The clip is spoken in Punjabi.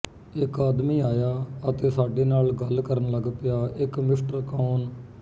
ਇਕ ਆਦਮੀ ਆਇਆ ਅਤੇ ਸਾਡੇ ਨਾਲ ਗੱਲ ਕਰਨ ਲੱਗ ਪਿਆ ਇਕ ਮਿਸਟਰ ਕੌਨ